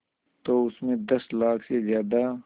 तो उस में दस लाख से ज़्यादा